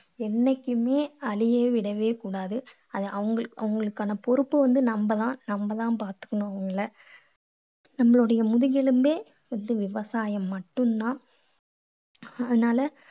என்னைக்குமே அழிய விடவே கூடாது. அது அவங்க அவங்களுக்கான பொறுப்பு வந்து நம்ம தான். நம்ம தான் பார்த்துக்கணும் அவங்களை. நம்மளுடைய முதுக்கெலும்பே விவசாயம் மட்டும் தான். அதனால